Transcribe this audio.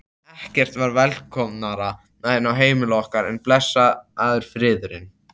Ekkert var velkomnara inn á heimili okkar en blessaður friðurinn.